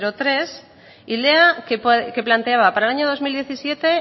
tres y lea que planteaba para el año dos mil diecisiete